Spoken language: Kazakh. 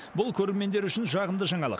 бұл көрермендер үшін жағымды жаңалық